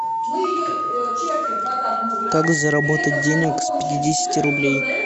как заработать денег с пятидесяти рублей